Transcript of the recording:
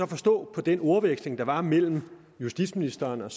forstå på den ordveksling der var mellem justitsministeren og